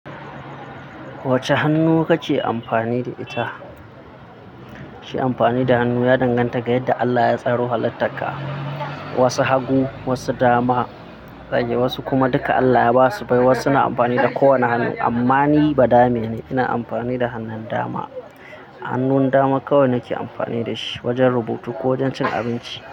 Wacce hannu kake amfani da ita? Shi amfani da hannu, ya danganta ga yadda Allah ya tsaro halittaka. Wasu hagu, wasu dama, wasu kuma duka Allah ya basu bai. Wasu na amfani da kowane hannu, amma ni badame ne ina amfani da hannun dama. Hannun dama kawai nake amfani da shi wajen rubutu ko wajen cin abinci.